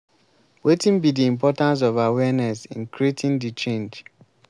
wetin be di importance of awareness in creating di change?